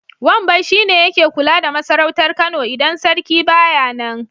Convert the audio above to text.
Wambai shi ne yake kula da masarautar Kano idan sarki ba ya nan.